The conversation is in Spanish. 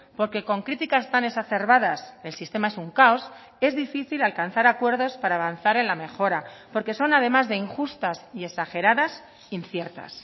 porque con críticas tan exacerbadas el sistema es un caos es difícil alcanzar acuerdos para avanzar en la mejora porque son además de injustas y exageradas inciertas